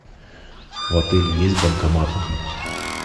в отеле есть банкоматы